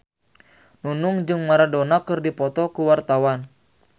Nunung jeung Maradona keur dipoto ku wartawan